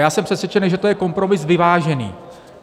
Já jsem přesvědčen, že to je kompromis vyvážený.